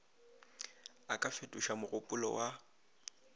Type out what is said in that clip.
a ka fetoša mogopolo wa